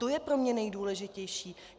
To je pro mě nejdůležitější.